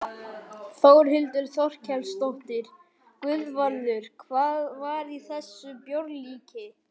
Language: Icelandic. Þórhildur Þorkelsdóttir: Guðvarður, hvað var í þessu bjórlíki?